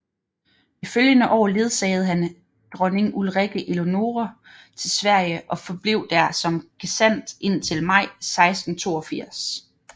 Det følgende år ledsagede han dronning Ulrikke Eleonore til Sverige og forblev der som gesandt indtil maj 1682